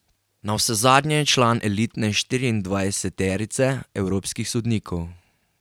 Navsezadnje je član elitne štiriindvajseterice evropskih sodnikov.